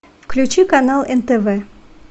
включи канал нтв